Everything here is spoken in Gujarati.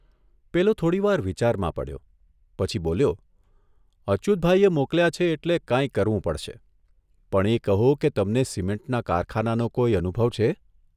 પેલો થોડીવાર વિચારમાં પડ્યો પછી બોલ્યો ' અચ્યુતભાઇએ મોકલ્યા છે એટલે કાંઇ કરવું પડશે, પણ એ કહો કે તમને સિમેન્ટના કારખાનાનો કોઇ અનુભ છે?